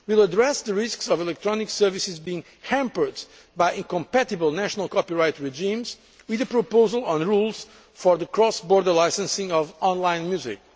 market. We will address the risks of electronic services being hampered by incompatible national copyright regimes, with a proposal on rules for the cross border licensing of online